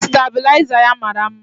Stabịlaịza ya mara mma.